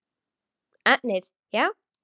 Efnið já?